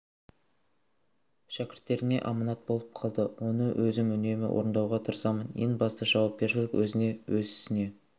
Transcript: шәкірттеріне аманат болып қалды оны өзім үнемі орындауға тырысамын ең бастысы жауапкершілік өзіңе өз ісіңе